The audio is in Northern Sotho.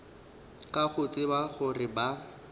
ka go tseba gore ba